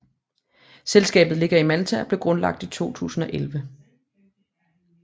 Selskabet ligger i Malta og blev grundlagt i 2011